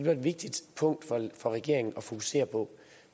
er et vigtigt punkt for regeringen at fokusere på